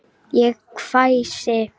Ég hvæsi.